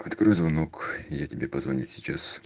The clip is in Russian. открой звонок я тебе позвоню сейчас